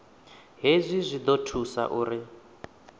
hezwi zwi ḓo thusa uri